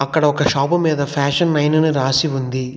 ఇక్కడ ఒక షాపు మీద ఫ్యాషన్ మైన్ అని రాసి ఉంది.